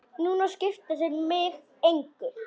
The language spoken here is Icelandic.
Núna skipta þeir mig engu.